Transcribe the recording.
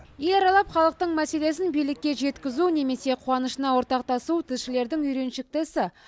ел аралап халықтың мәселесін билікке жеткізу немесе қуанышына ортақтасу тілшілердің үйреншікті ісі